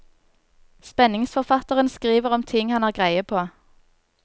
Spenningsforfatteren skriver om ting han har greie på.